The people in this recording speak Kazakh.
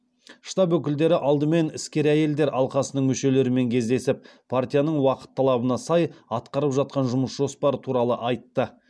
штаб өкілдері алдымен іскер әйелдер алқасының мүшелерімен кездесіп партияның уақыт талабына сай атқарып жатқан жұмыс жоспары туралы айтты